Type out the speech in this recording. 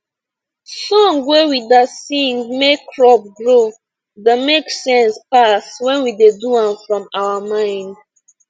song wey we da sing make crop grow da make sense pass wen we do am from our mind